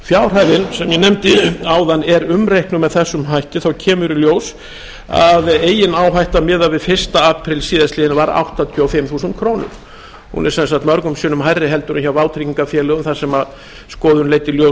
nefndi áðan er umreiknuð með þessum hætti þá kemur í ljós að megináhætta miðað við fyrsta apríl síðastliðinn var áttatíu og fimm þúsund krónur hún er sem sagt mörgum sinnum hærri heldur en hjá vátryggingarfélögum þar sem skoðun leiddi í ljós að